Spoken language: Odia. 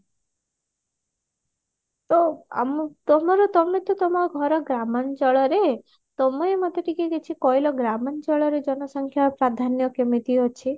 ତ ଆମ ତମର ତମେ ତମ ଘର ଗ୍ରାମଞ୍ଚଳରେ ତମେ ମୋତେ ଟିକେ କିଛି କହିଲ ଗ୍ରାମଞ୍ଚଳରେ ଜନସଂଖ୍ୟା ପ୍ରାଧାନ୍ୟ କେମିତି ଅଛି?